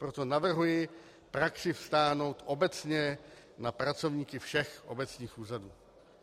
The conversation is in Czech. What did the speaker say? Proto navrhuji praxi vztáhnout obecně na pracovníky všech obecních úřadů.